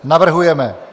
Navrhujeme: